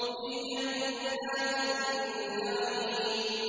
فِي جَنَّاتِ النَّعِيمِ